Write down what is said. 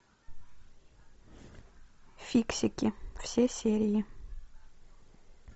фиксики все серии